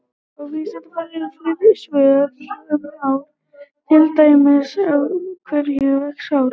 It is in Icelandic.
Á Vísindavefnum eru fleiri svör um hár, til dæmis: Af hverju vex hárið?